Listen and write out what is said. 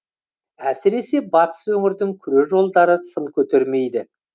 әсіресе батыс өңірдің күре жолдары сын көтермейді